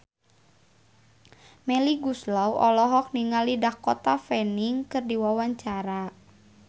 Melly Goeslaw olohok ningali Dakota Fanning keur diwawancara